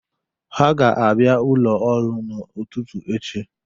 Ha ga-abịa ụlo ọrụ n'ụtụtụ echi.